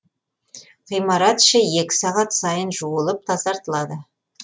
ғимарат іші екі сағат сайын жуылып тазартылады